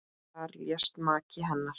Þar lést maki hennar.